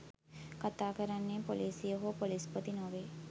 කතා කරන්නේ පොලිසිය හෝ පොලිස්පති නොවේ